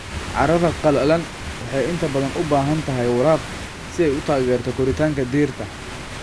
Carrada qallalan waxay inta badan u baahan tahay waraab si ay u taageerto koritaanka dhirta.